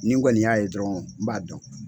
Ni kɔni nin y'a ye dɔrɔn n b'a dɔn.